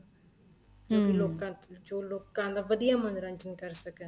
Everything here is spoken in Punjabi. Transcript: ਲੋਕਾਂ ਤੋਂ ਜੋ ਲੋਕਾਂ ਦਾ ਵਧੀਆ ਮੰਨੋਰੰਜਨ ਕਰ ਸਕਣ